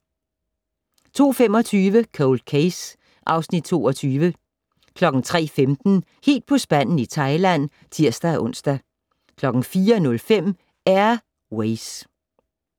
02:25: Cold Case (Afs. 22) 03:15: Helt på spanden i Thailand (tir-ons) 04:05: Air Ways